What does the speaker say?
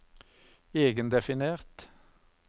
egendefinert